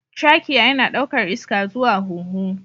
Trachea yana ɗaukar iska zuwa hunhu